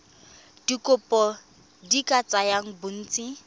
dikopo di ka tsaya bontsi